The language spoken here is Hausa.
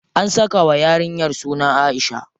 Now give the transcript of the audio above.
An saka wa yarinyar suna Aisha.